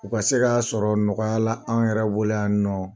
U ka se ka sɔrɔ nɔgɔya la an yɛrɛbɔ lo yan nɔ.